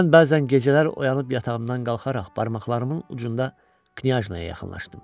Mən bəzən gecələr oyanıb yatağımdan qalxaraq barmaqlarımın ucunda Knyajnaya yaxınlaşırdım.